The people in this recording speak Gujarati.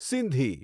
સિંધી